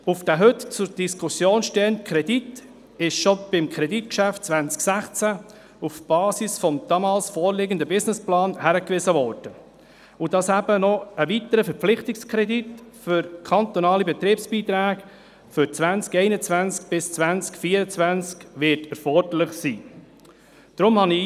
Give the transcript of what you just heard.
Auf den heute zur Diskussion stehenden Kredit wurde schon im Rahmen des Kreditgeschäfts 2016 auf die Basis des damals vorliegenden Businessplans hingewiesen sowie darauf, dass ein weiterer Verpflichtungskredit für kantonale Betriebsbeiträge für die Jahre 2021–2024 erforderlich sein wird.